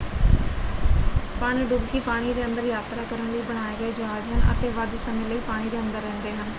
ਪਣਡੁਬਕੀ ਪਾਣੀ ਦੇ ਅੰਦਰ ਯਾਤਰਾ ਕਰਨ ਲਈ ਬਣਾਏ ਗਏ ਜਹਾਜ ਹਨ ਅਤੇ ਵੱਧ ਸਮੇਂ ਲਈ ਪਾਣੀ ਦੇ ਅੰਦਰ ਰਹਿੰਦੇ ਹਨ।